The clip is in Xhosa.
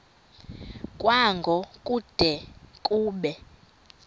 kwango kude kube